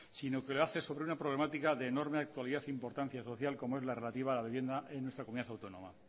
sino que lo hace sobre una problemática de enorme actualidad e importancia social como es la relativa a la vivienda en nuestra comunidad autónoma